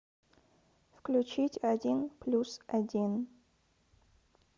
включить один плюс один